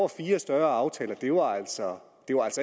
fire større aftaler